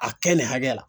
A kɛ nin hakɛ la